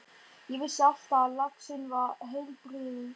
Ég vissi alltaf að laxinn var heilbrigður.